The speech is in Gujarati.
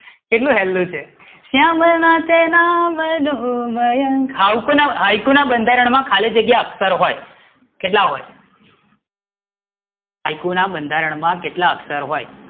કેટલું સહેલું છે શ્યામ ના તે નામ નો મયંક, હાયકુ ના બંધારણ માં ખાલી જગ્યા અક્ષર હોય, કેટલા હોય? હાયકુ ના બંધારણ માં કેટલા અક્ષર હોય?